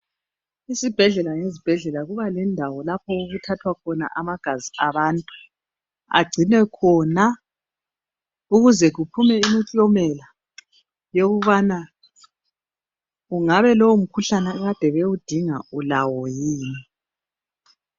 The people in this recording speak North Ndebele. Isibhedlela ngesibhedlela kuba lendawo lapho okuthathwa khona amagazi abantu agcinwe khona ukuze kuphume imiklomela yokubana kungabe lowomkhuhlane ade bewudinga ulawo yini.